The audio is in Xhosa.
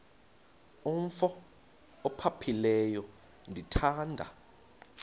umf ophaphileyo ndithanda